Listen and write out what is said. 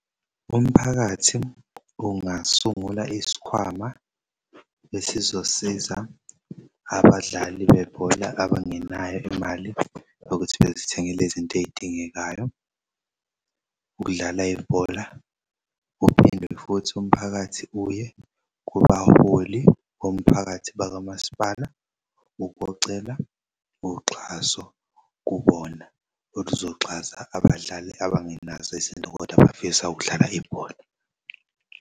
Umphakathi ungasungula isikhwama esizosiza abadlali bebhola abangenayo imali yokuthi bezithengel'zinto ezidingekayo ukudlala ibhola. Uphinde futhi umphakathi uye kubaholi bomphakathi bakaMaspala ukuyocela uxhaso kubona oluzoxhasa abadlali abangenazo izintokodwa abafisa ukudlala ibhola.